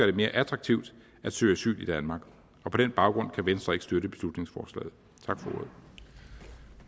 det mere attraktivt at søge asyl i danmark på den baggrund kan venstre ikke støtte beslutningsforslaget